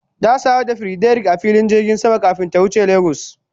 Ta sadu da Frederick a filin jirgin sama kafin ta wuce Lagos.